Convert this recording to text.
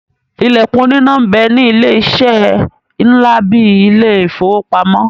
Ìlẹ̀kùn oníná ń bẹ ní ilé-eṣẹ́ ńlá bíi ilé ìfowópamọ́.